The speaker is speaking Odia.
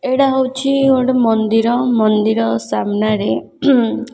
ଏଇଡ଼ା ହଉଚି ଗୋଟେ ମନ୍ଦିର। ମନ୍ଦିର ସାମ୍ନାରେ --